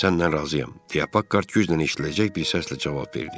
Səndən razıyam deyə Pakhart güclə eşidiləcək bir səslə cavab verdi.